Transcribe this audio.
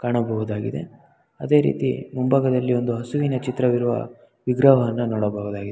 ಕಾಣಬಹುದಾಗಿದೆ ಅದೆ ರೀತಿ ಮುಂಭಾಗದಲ್ಲಿ ಒಂದು ಹಸುವಿನ ಚಿತ್ರವಿರುವ ವಿಗ್ರಹವನ್ನ ನೋಡಬಹುದಾಗಿದೆ .